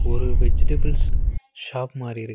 ஒரு vegetables shop மாரி இருக்கு.